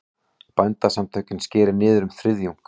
Bændasamtökin skeri niður um þriðjung